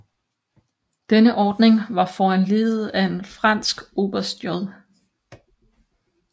Denne ordning var foranlediget af en fransk oberst J